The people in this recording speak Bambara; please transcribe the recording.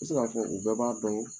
se k'a fɔ u bɛɛ b'a dɔn